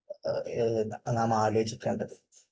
നാം ആലോചിക്കേണ്ടത്